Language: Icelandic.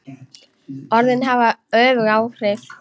Orðin hafa öfug áhrif.